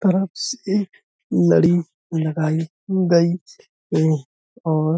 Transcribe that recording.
लड़ी लगाई गई है और --